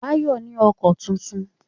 Báyọ̀ ní ọkọ tuntun